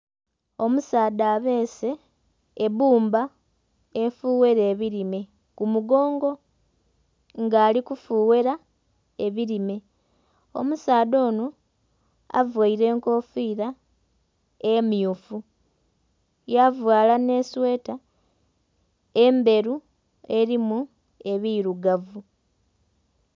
Omusaadha abese ebbumbba efughera ebirime ku mugongo nga ali ku fughera ebirime, omusaadha onho avaire enkofira emyufu yavala nhe sweeta endheru erimu ebirugavu.